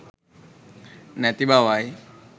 නැති බවයි.